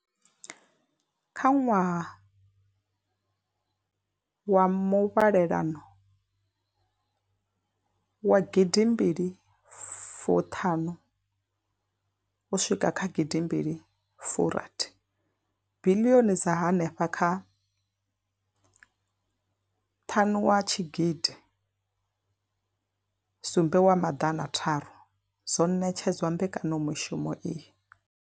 Kha ṅwaha wa muvhalelano wa gidimbili fu ṱhanu uswika kha gidimbili fu rathi, biḽioni dza henefha kha ṱhanu wa tshigidi sumbe wa maḓana tharu dzo ṋetshedzwa mbekanyamushumo iyi.